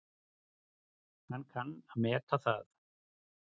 Hann kann að meta það.